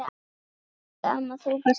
Elsku amma, þú varst nagli.